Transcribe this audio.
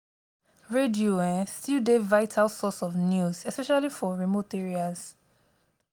radio um still dey vital source of news especially for remote areas.